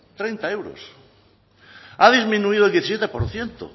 treinta euros ha disminuido el diecisiete por ciento